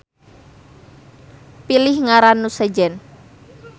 Pilih ngaran nu sejen